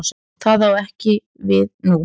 Það á ekki við nú.